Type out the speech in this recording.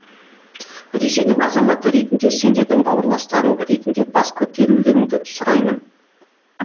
ресейдің азаматы ретінде сендердің бауырластарың ретінде бас көтерулеріңді сұраймын